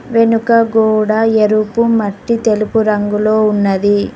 వెనుక గోడ ఎరుపు మట్టి తెలుపు రంగులో ఉన్నది.